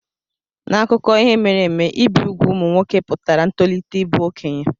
N'akụkọ ihe mere eme, ibi úgwù ụmụ nwoke pụtara ntolite ịbụ okenye.